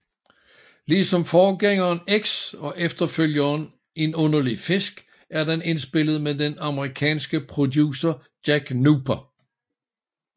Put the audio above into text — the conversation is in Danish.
Ligesom forgængeren X og efterfølgeren En underlig fisk er den indspillet med den amerikanske producer Jack Nuber